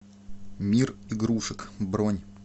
мир игрушек бронь